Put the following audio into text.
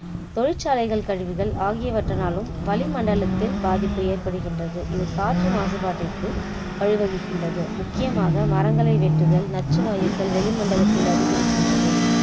தொழிற்சாலைகள் கழிவுகள் ஆகியவற்றினாலும் வளிமண்டலத்தில பாதிப்பு ஏற்படுகின்றது இது காற்று மாசுபாட்டிற்கு வழிவகுக்கின்றது முக்கியமாக மரங்களை வெட்டுதல் நச்சு வாயுக்கள் வெளிமண்டலத்தில் அதிகரிக்கின்றது